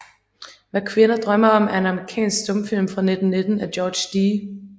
Hvad Kvinder drømmer om er en amerikansk stumfilm fra 1919 af George D